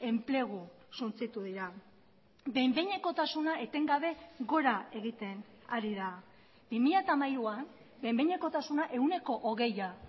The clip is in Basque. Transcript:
enplegu suntsitu dira behin behinekotasuna etengabe gora egiten ari da bi mila hamairuan behin behinekotasuna ehuneko hogeia